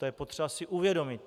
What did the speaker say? To je potřeba si uvědomit.